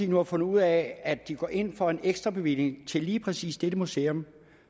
nu fundet ud af at de går ind for en ekstrabevilling til lige præcis dette museum